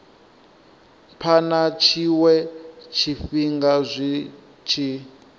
phana tshiwe tshifhinga zwi tshi